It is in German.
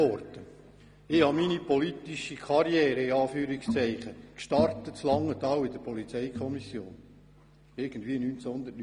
Ich startete meine «politische Karriere» in Anführungszeichen 1989 in der Polizeikommission in Langenthal.